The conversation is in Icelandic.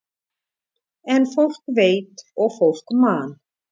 En fólk veit og fólk man.